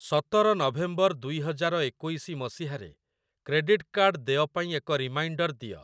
ସତର ନଭେମ୍ବର ଦୁଇ ହଜାର ଏକୋଇଶି ମସିହାରେ କ୍ରେଡିଟ୍‌ କାର୍ଡ଼୍ ଦେୟ ପାଇଁ ଏକ ରିମାଇଣ୍ଡର୍‌ ଦିଅ ।